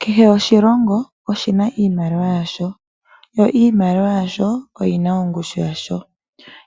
Kehe oshilongo oshina iimaliwa yasho . Yo iimaliwa yasho oyina ongushu yasho.